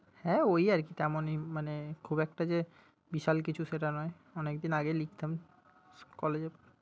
হ্যাঁ ওই আরকি তেমনই মানে খুব একটা যে বিশাল কিছু সেটা নয়, অনেক দিন আগে লিখতাম collage এ।